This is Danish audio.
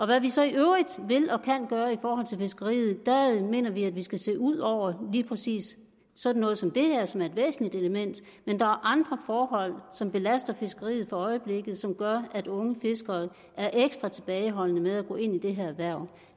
hvad vi så i øvrigt vil og kan gøre i forhold til fiskeriet mener vi at vi skal se ud over lige præcis sådan noget som det her som er et væsentligt element men der er andre forhold som belaster fiskeriet for øjeblikket og som gør at unge fiskere er ekstra tilbageholdende med at gå ind i det her erhverv